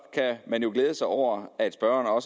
glæde sig over at spørgeren